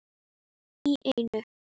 Í einu!